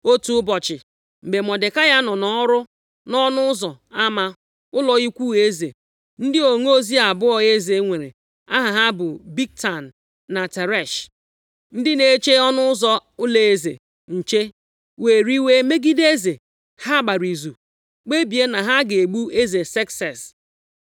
Otu ụbọchị, mgbe Mọdekai nọ nʼọrụ nʼọnụ ụzọ ama ụlọ ukwu eze, ndị onozi abụọ eze nwere, aha ha bụ Bigtan na Teresh, ndị na-eche ọnụ ụzọ ụlọeze nche, were iwe megide eze. Ha gbara izu kpebie na ha ga-egbu eze Sekses.